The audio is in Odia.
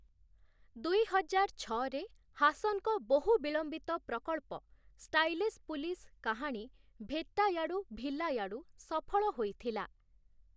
ଦୁଇହଜାର ଛଅରେ, ହାସନ୍‌ଙ୍କ ବହୁ-ବିଳମ୍ବିତ ପ୍ରକଳ୍ପ, ଷ୍ଟାଇଲିଶ୍ ପୁଲିସ କାହାଣୀ 'ଭେଟ୍ଟାୟାଡୁ ଭିଲାୟାଡୁ' ସଫଳ ହୋଇଥିଲା ।